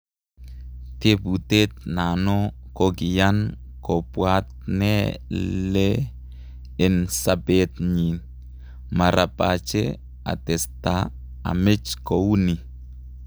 Teputet nano kokiyan kopwat ne lee en sapet nyi.,"marapache atestaa amech kou nii."